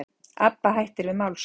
Abba hættir við málssókn